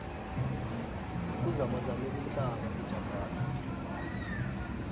kuzamazame umhlaba ejapane